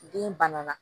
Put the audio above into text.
Den bana na